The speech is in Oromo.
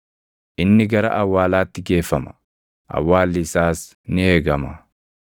Inni gara awwaalaatti geeffama; awwaalli isaas ni eegama.